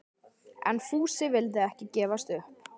En Fúsi vildi ekki gefast upp.